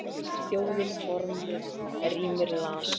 Þjóðin forðum rímur las.